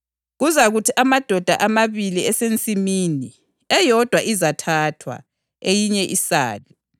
Kuzakuthi amadoda emabili esensimini, eyodwa izathathwa, eyinye isale.